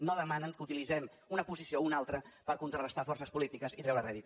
no demanen que utilitzem una posició o una altra per contrarestar forces polítiques i treure’n rèdit